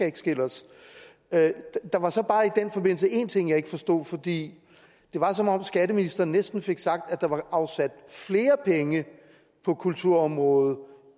ikke skille os ad der var så bare i den forbindelse en ting jeg ikke forstod for det var som om skatteministeren næsten fik sagt at der var afsat flere penge på kulturområdet